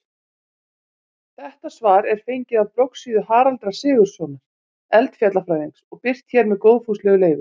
Þetta svar er fengið af bloggsíðu Haraldar Sigurðssonar eldfjallafræðings og birt hér með góðfúslegu leyfi.